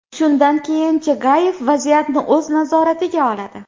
Shundan keyin Chagayev vaziyatni o‘z nazoratiga oladi.